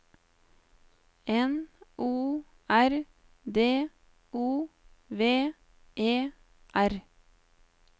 N O R D O V E R